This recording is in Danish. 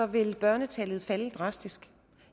vil børnetallet falde drastisk